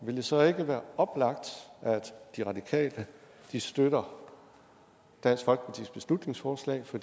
vil det så ikke være oplagt at de radikale støtter dansk folkepartis beslutningsforslag for